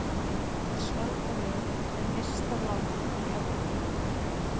Svalbarði er nyrsta land í Evrópu.